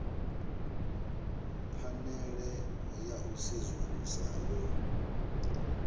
phanele ya u sedzulusa yo